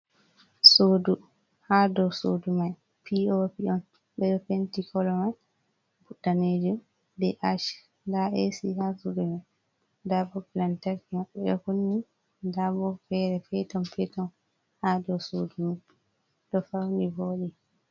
Suudu ha dow suudu may POP on ,be ɗo penti kolo may bo daneejum ,be aac nda eesi ha suudu may nda bop lantarki ɓe ɗo kunni nda bo feere peton peton ha dow suudu may ɗo fawni vooɗi.